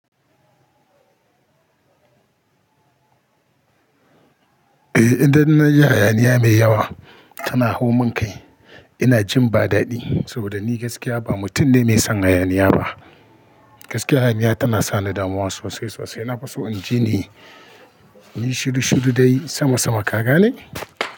Eh idan na ji hayaniya mai yawa tana hau mun kai, ina jin ba dadi saboda ni gaskiya ba mutum ne mai son hayaniya ba. Gaskiya hayaniya tana sa ni damuwa sosai sosai. Na fa so in ji ni, ni shiru shiru dai sama sama kaka ne?